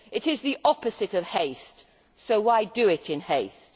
It is the opposite of haste, so why do it in haste?